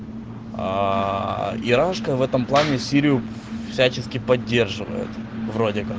ирочка в этом плане сирию всячески поддерживает